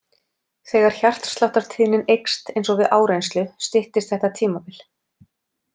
Þegar hjartsláttartíðnin eykst eins og við áreynslu styttist þetta tímabil.